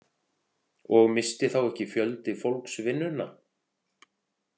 Og missti þá ekki fjöldi fólks vinnuna?